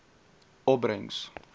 opbrengs